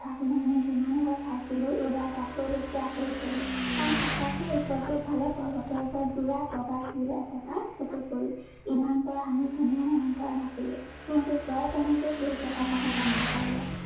তাক লৈ আমি যিমান ভয় খাইছিলো, এইবাৰ তাতকৈ বেছি আচৰিত হলো। কাৰণ সঁচাকৈ উত্তৰ-পূব ফালে পৰ্বতৰ ওপৰত বিৰাত বগা শিল এচটা চকুত পৰিল। ইমান পৰ আমি কোনেও মন কৰা নাছিলো। কিন্তু জয়ে কেনেকৈ শিলচটাৰ কথা জানিব পাৰিলে।